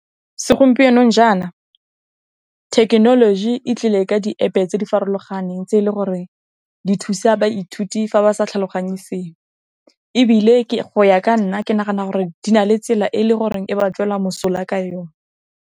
Segompienong jaana, technology e tlile ka di App tse di farologaneng, tse e le goreng di thusa baithuti fa ba sa tlhaloganye sengwe, ebile go ya ka nna ke nagana gore di na le tsela e e le goreng e ba tswela mosola ka yone.